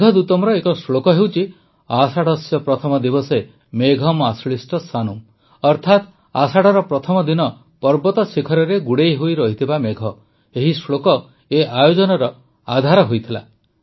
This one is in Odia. ମେଘଦୂତମର ଏକ ଶ୍ଳୋକ ହେଉଛି ଆଷାଢସ୍ୟ ପ୍ରଥମ ଦିବସେ ମେଘମ୍ ଆଶ୍ଳିଷ୍ଟ ସାନୁମ୍ ଅର୍ଥାତ ଆଷାଢ଼ର ପ୍ରଥମ ଦିନ ପର୍ବତ ଶିଖରରେ ଗୁଡ଼େଇ ହୋଇରହିଥିବା ମେଘ ଏହି ଶ୍ଳୋକ ଏ ଆୟୋଜନର ଆଧାର ହୋଇଥିଲା